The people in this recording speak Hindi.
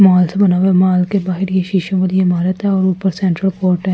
मॉल से बना हुआ है माल के बाहर ये शिशे वाली इमारत है और ऊपर सेंट्रल कोर्ट है --